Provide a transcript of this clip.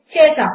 చేసాము